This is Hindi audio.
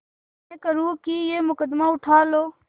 विनय करुँ कि यह मुकदमा उठा लो